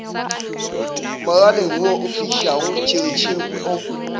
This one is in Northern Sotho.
moraleng wo ofišago tšhiritšhiri o